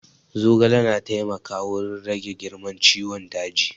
Zogale na taimaka wurin rage girman ciwon daji